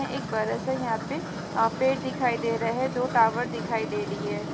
एक बरा सा यहाँ पे अ पेड़ दिखाई दे रहा है दो टावर दिखाई दे रही है।